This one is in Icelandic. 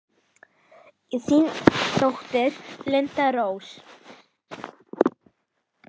Þín dóttir, Linda Rós.